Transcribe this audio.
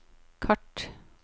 kart